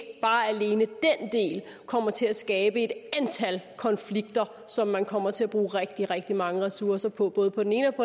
kommer til at skabe et antal konflikter som man kommer til at bruge rigtig rigtig mange ressourcer på både på den ene